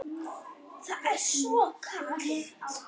Það er svo kalt.